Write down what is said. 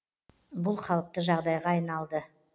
бұл қалыпты жағдайға айналды